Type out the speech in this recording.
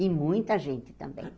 E muita gente também.